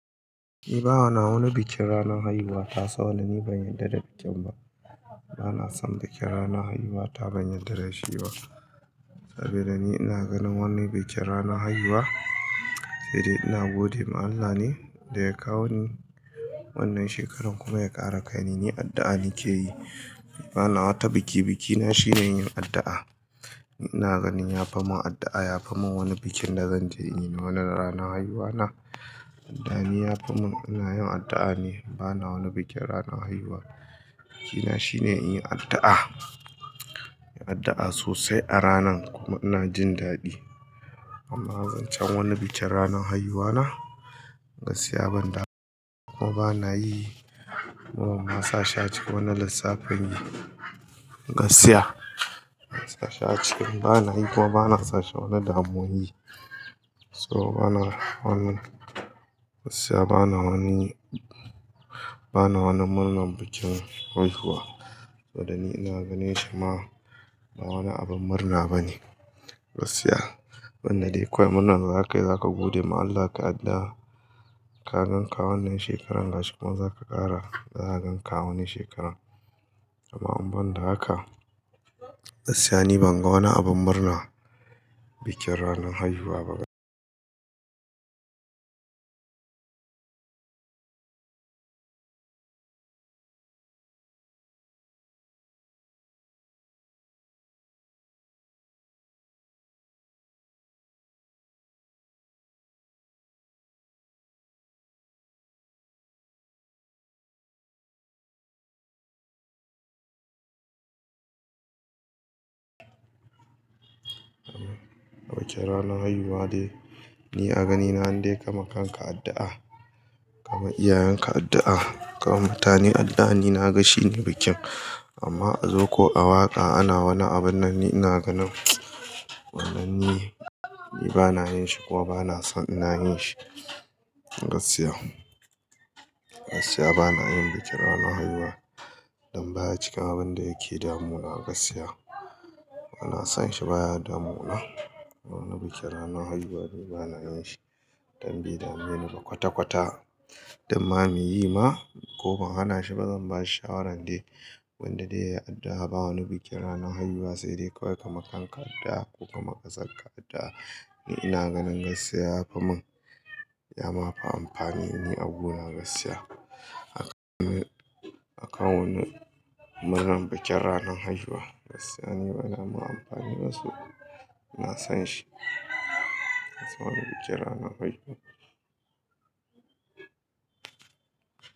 Eh ba wahala wani bikin ranar haihuwa. Tasa wanda ni ban yarda da bikin ba. Bana son bikin ranar haihuwa ta ban yardar da shi ba. Saboda ni ina ganin wani bikin ranar haihuwa, sai dai ina gode ma Allah ne da ya kawo ni wannan shekarar kuma ya ƙara kaini, ni addu'a nake yi. Bana wata biki, bikina shine yin addu'a. Ni ina ganin ya famun addu'a ya famun wani bikin da zan je in yi na wani ranar haihuwana. Addu'a ni ya famun, ina yin addu'a ne, bana wani bikin ranar haihuwa. Bikina shine inyi addu'a, addu'a sosai a ranan kuma ina jin daɗi. Amma zancen wani bikin ranar haihuwa na, gaskiya ban damu ba kuma bana yi. Kuma masa sha ci wani lissafin, gaskiya masa sha ci bana yi kuma bana sashi wani damo yi. So bana wannan, gaskiya bana wani, bana wannan murnar bikin haihuwa. Saboda ni ina ganin shi ma ba wani abin murna bane. Gaskiya, wanda dai kawai murnar za kai za ka gode ma Allah kai addu'a ka gan ka wannan shekarar, gashi kuma za ka ƙara, za ka gan ka wani shekarar. Amma amban da haka, gaskiya ni ban ga wani abin murna bikin ranar haihuwa ba. Bikin ranar haihuwa dai, ni a ganina dai kamar kanka addu'a, kama iyayenka addu'a, kama mutane addu'a ni na ga shi ne bikin. Amma a zo ko a waƙa ana wani abin nan ni ina ganin wannan yi, ni bana yin shi kuma bana son ina yin shi. Gaskiya, gaskiya bana yin bikin ranar haihuwa don baya cikin abin da yake damuna gaskiya. Bana son shi baya damuna. Wannan bikin ranar haihuwa dai bana yin shi don bai dame ni ba kwata-kwata. Dan ma muyi ma ko ban hana shi ba zan ba shi shawaran dai, wanda dai ya addu'a ba wani bikin ranar haihuwa sai dai kawai kaima kanka addu'a ko kamar ƙasarka addu'a. Ni ina ganin gaskiya ya famun, ya ma fi amfani. Ni agu na gaskiya aka mun, aka wannan murnar bikin ranar haihuwa. Gaskiya ni bana ma amfani da su. Ina son shi, bana son wani bikin ranar haihuwa.